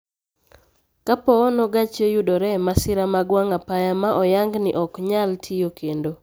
Kapoono gachi oyudore e masira mag wang'apaya ma oyang ni oknyal tiyo kendo